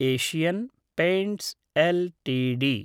Asian Paints LTD